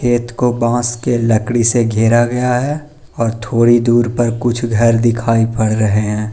खेत को बांस की लकड़ी से घेरा गया है और थोड़ी दूर पर कुछ घर दिखाई पड़ रहे है।